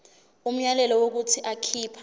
umyalelo wokuthi akhipha